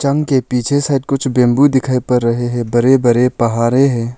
उनके पीछे सायद कुछ बंबू दिखाई पर रहे हैं बरे बरे पहारे हैं।